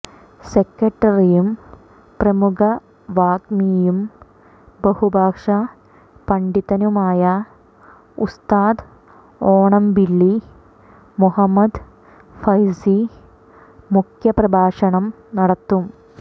സെക്രട്ടറിയും പ്രമുഖ വാഗ്മിയും ബഹു ഭാഷാ പണ്ഢിതനുമായ ഉസ്താദ് ഓണമ്പിള്ളി മുഹമ്മദ് ഫൈസി മുഖ്യപ്രഭാഷണം നടത്തും